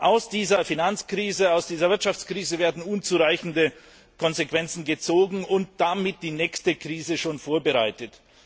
Aus dieser Finanzkrise, aus dieser Wirtschaftskrise werden unzureichende Konsequenzen gezogen und damit die nächste Krise schon vorbereitet.